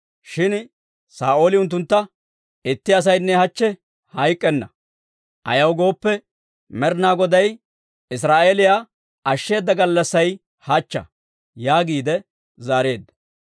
Shin Saa'ooli unttuntta, «Itti asaynne hachche hayk'k'enna; ayaw gooppe, Med'inaa Goday Israa'eeliyaa ashsheeda gallassay hachcha» yaagiide zaareedda.